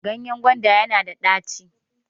ganyen gwanda yana da daco